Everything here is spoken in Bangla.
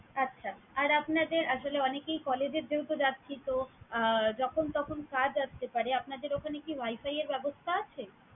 আচ্ছা! আর আপনাদের আসলে অনেকেই collage এর যেহেতু যাচ্ছি, তো আহ যখন তখন কাজ আসতে পারে। আপনাদের ওখানে কি wifi এর ব্যবস্থা আছে?